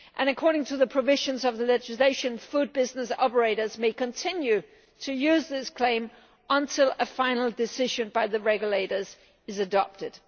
And according to the provisions of the legislation, food business operators may continue to use this claim until a final decision by the regulators is adopted.